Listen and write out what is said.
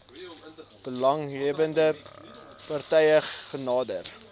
belanghebbende partye genader